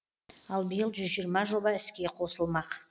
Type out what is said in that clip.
ал биыл жүз жиырма жоба іске қосылмақ